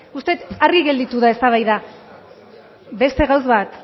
uste dut argi gelditu da eztabaida beste gauza